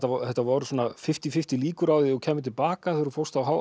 þetta voru svona fimmtíu fimmtíu líkur á því að þú kæmir til baka þegar þú fórst